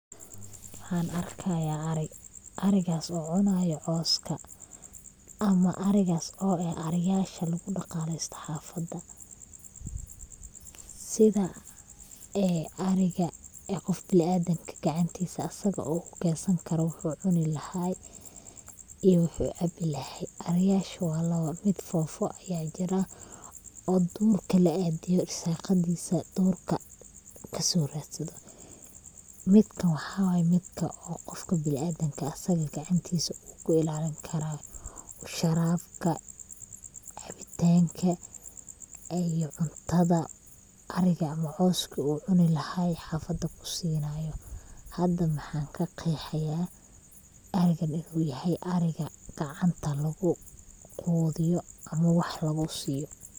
Waxan arkaya ari, arigaas oo cunayo coska ama arigas oo eh ariyasha lugu dhaqaleysto xaafada, sida ee ariga qof bini Adam gacantiisa asaga uu kukensan karo wuxuu cuni lahay iyo wuxuu cambi lahay, ariyasha waa laba, mid foofo aya jiraa oo duurka la aadiyo, irsaqadiisa duurka kaaso radsado, midkan waxaway midka qofka bini adamka u asaga gacantiisa uu ku ilalini karaa, sharabka, cabitanka iyo cuntada ariga ama coska uu cuni lahay xafada kusinaayo, hada waxan kaqeexi haya arigan inu yahay ariga gacanta lugu quudiyo ama wax lugu siiyo